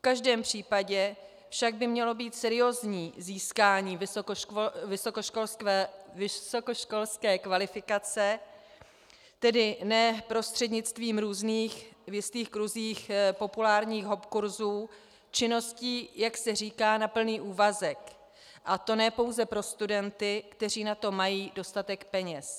V každém případě by však mělo být seriózní získání vysokoškolské kvalifikace, tedy ne prostřednictvím různých v jistých kruzích populárních hopkursů, činností, jak se říká, na plný úvazek, a to ne pouze pro studenty, kteří na to mají dostatek peněz.